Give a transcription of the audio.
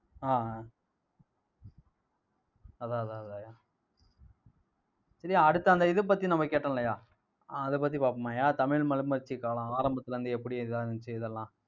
ஆஹ் அதான், அதான் அதான்யா சரி அடுத்து அந்த இதை பத்தி நம்ம கேட்டோம் இல்லையா அஹ் அதைப் பத்தி பாப்பமாய்யா தமிழ் மறுமலர்ச்சிக் காலம் ஆரம்பத்துல இருந்து எப்படி எல்லாம் இருந்திச்சி அதெல்லாம்